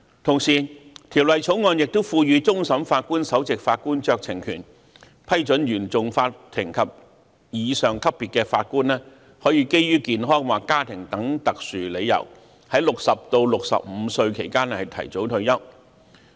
《條例草案》亦賦予終審法院首席法官酌情權，批准原訟法庭及以上級別的法官可以基於健康或家庭等特殊理由，在60至65歲期間提早退休。